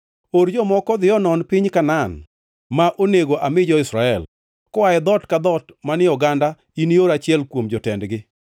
“Or jomoko odhi onon piny Kanaan, ma onego ami jo-Israel. Koa e dhoot ka dhoot manie oganda inior achiel kuom jotendgi.”